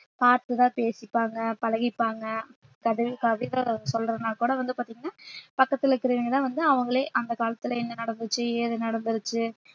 பாத்து தான் பேசிப்பாங்க பழகிப்பாங்க கவிதை சொல்றதுன்னா கூட வந்து பாத்தீங்கன்னா பக்கத்துல இருக்குறவங்கதான் வந்து அவங்களே அந்த காலத்துல என்ன நடந்துச்சு ஏது நடந்துருச்சு